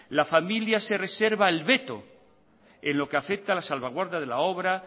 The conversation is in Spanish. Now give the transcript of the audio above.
la familia se reserva el veto en lo que afecta a la salvaguarda de la obra